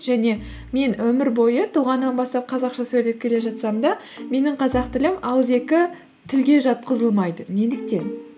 және мен өмір бойы туғаннан бастап қазақша сөйлеп келе жатсам да менің қазақ тілім ауызекі тілге жатқызылмайды неліктен